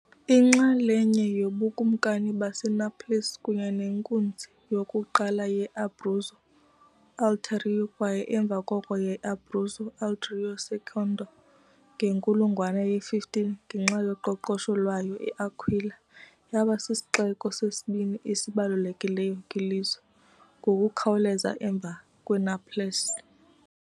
Inxalenye yoBukumkani baseNaples kunye nenkunzi yokuqala ye-Abruzzo Ulteriore kwaye emva koko ye-Abruzzo Ulteriore Secondo, ngenkulungwane ye-15, ngenxa yoqoqosho lwayo, i-Aquila yaba sisixeko sesibini esibalulekileyo kwilizwe, ngokukhawuleza emva kweNaples .